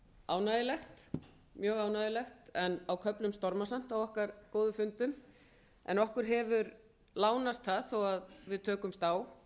ánægjulegt mjög ánægjulegt en á köflum stormasamt á okkar góðu fundum en okkur hefur lánast það þó að við tökumst á